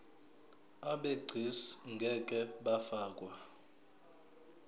abegcis ngeke bafakwa